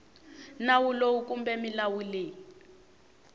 nawu lowu kumbe milawu leyi